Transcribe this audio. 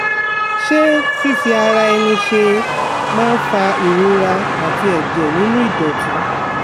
Ṣé fífi ara ẹni ṣe é máa ń fa ìrora àti ẹ̀jẹ̀ nínú ìdọ̀tí?